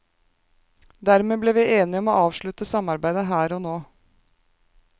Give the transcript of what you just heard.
Dermed ble vi enige om å avslutte samarbeidet her og nå.